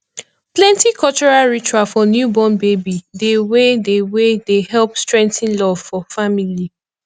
plenty cultural ritual for newborn baby dey wey dey wey dey help strengthen love for family